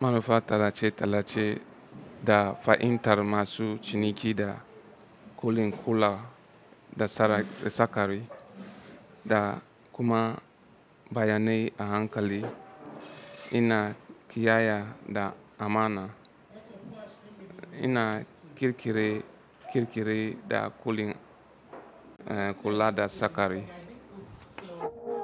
manufa talace talace da fa'in tar masu ciniki da kulin kula da sara da sakari da kuma bayanai a hankali. Ina kiyaya da amana. Ina kirkire-kirkire da kulin kula da sakari.